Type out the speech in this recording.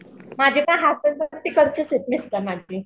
माझे तर हाथन दोन तिकडचेच आहेत मिस्टर माझे.